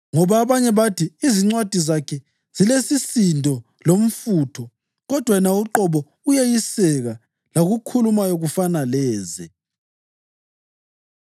Ngoba abanye bathi, “Izincwadi zakhe zilesisindo lomfutho kodwa yena uqobo uyeyiseka lakukhulumayo kufana leze.”